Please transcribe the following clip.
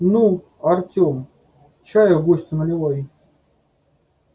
ну артём чаю гостю наливай